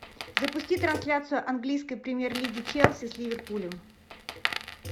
запусти трансляцию английской премьер лиги челси с ливерпулем